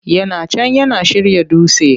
Yana can yana shirya dutse!